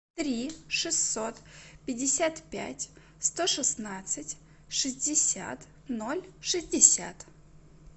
три шестьсот пятьдесят пять сто шестнадцать шестьдесят ноль шестьдесят